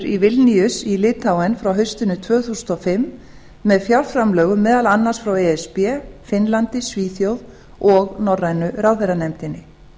í vilníus í litháen frá haustinu tvö þúsund og fimm með fjárframlögum meðal annars frá e s b finnlandi svíþjóð og norrænu ráðherranefndinni